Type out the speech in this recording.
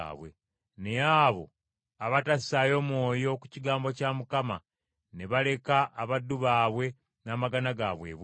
Naye abo abatassaayo mwoyo ku kigambo kya Mukama ne baleka abaddu baabwe n’amagana gaabwe ebweru.